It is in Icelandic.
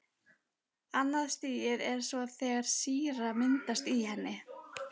Annað stigið er svo þegar sýra myndast í henni.